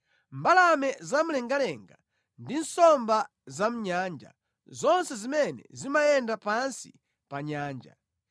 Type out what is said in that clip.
mbalame zamlengalenga ndi nsomba zamʼnyanja zonse zimene zimayenda pansi pa nyanja.